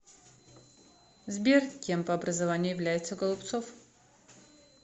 сбер кем по образованию является голубцов